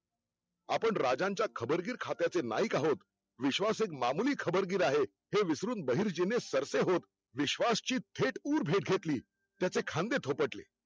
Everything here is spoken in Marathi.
आपण राजांच्या खबरगीर खात्याचे नाईक आहोत, विश्वास एक मामुली खबरगीर आहे हे विसरून बहिर्जीने सरसेहोत विश्वास ची थेट उर भेट घेतली त्याचे खांदे थोपटले.